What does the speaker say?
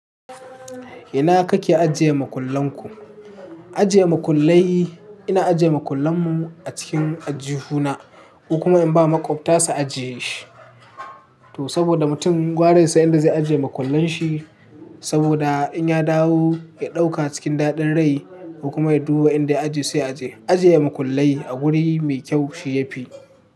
Ina kake ajiye makullan ku? Ajiye makullai, ina ajiye makullan mu a cikin aljihu na, ko kuma in ba maƙwabta su ajiye shi. To saboda mutum gwara yasan inda zai ajiye makullan shi, saboda in ya dawo ya ɗauka cikin daɗin rai ko kuma ya duba inda ya a je sai ya aje. Ajiye makullai a wuri mai kyau shi ya fi.